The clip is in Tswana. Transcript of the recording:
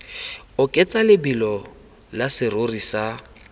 oketsa lebelo la serori sa